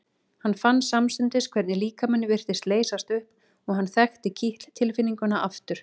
Hann fann samstundis hvernig líkaminn virtist leysast upp og hann þekkti kitl tilfinninguna aftur.